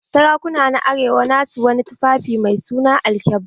Sarakuna na arewa na su wani tufaffi mai suna alkyabba.